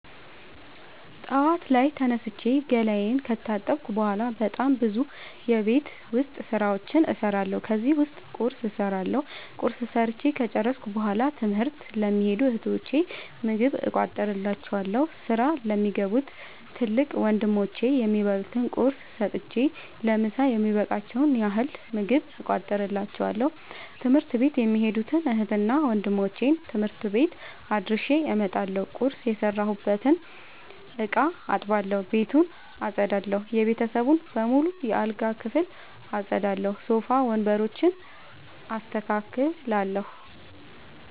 ጠዋት ላይ ተነስቼ ገላየን ከታጠብኩ በሗላ በጣም ብዙ የቤት ዉስጥ ስራዎችን እሠራለሁ። ከነዚህም ዉስጥ ቁርስ እሠራለሁ። ቁርስ ሠርቸ ከጨረሥኩ በሗላ ትምህርት ለሚኸዱ እህቶቸ ምግብ እቋጥርላቸዋለሁ። ስራ ለሚገቡ ትልቅ ወንድሞቼም የሚበሉት ቁርስ ሰጥቸ ለምሣ የሚበቃቸዉን ያህል ምግብ እቋጥርላቸዋለሁ። ትምህርት ቤት የሚኸዱትን እህትና ወንድሞቼ ትምህርት ቤት አድርሼ እመጣለሁ። ቁርስ የሰራሁበትን እቃ አጥባለሁ። ቤቱን አጠዳለሁ። የቤተሰቡን በሙሉ የአልጋ ክፍል አጠዳለሁ። ሶፋ ወንበሮችን አስተካክላለሁ።